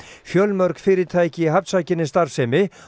fjölmörg fyrirtæki í starfsemi